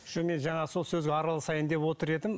жоқ мен енді жаңа сол сөзге араласайын деп отыр едім